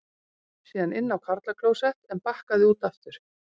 Síðan inn á karlaklósett en bakkaði út aftur.